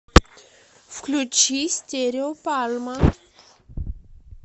включи стерео пальма